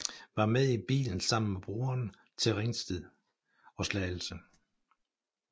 Var med i bilen sammen med broren til Ringsted og Slagelse